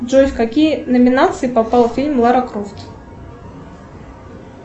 джой в какие номинации попал фильм лара крофт